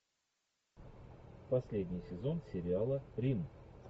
последний сезон сериала рим